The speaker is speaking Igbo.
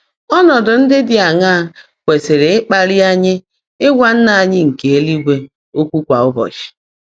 Ọ́nọ́dụ́ ndị́ dị́ áṅaá kwèsị́rị́ ị́kpálị́ ányị́ ị́gwá Nnã ányị́ nkè élúigwè ókwụ́ kwá ụ́bọ́chị́?